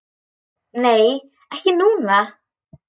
Nei, ekki núna.